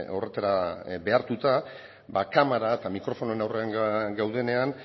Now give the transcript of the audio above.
horretara behartuta kamara eta mikrofonoen aurrean gaudenean